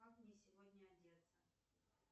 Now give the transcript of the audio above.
как мне сегодня одеться